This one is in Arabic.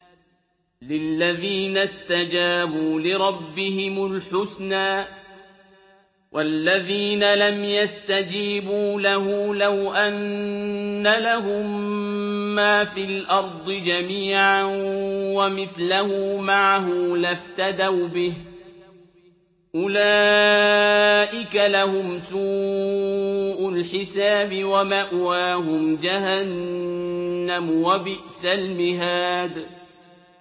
لِلَّذِينَ اسْتَجَابُوا لِرَبِّهِمُ الْحُسْنَىٰ ۚ وَالَّذِينَ لَمْ يَسْتَجِيبُوا لَهُ لَوْ أَنَّ لَهُم مَّا فِي الْأَرْضِ جَمِيعًا وَمِثْلَهُ مَعَهُ لَافْتَدَوْا بِهِ ۚ أُولَٰئِكَ لَهُمْ سُوءُ الْحِسَابِ وَمَأْوَاهُمْ جَهَنَّمُ ۖ وَبِئْسَ الْمِهَادُ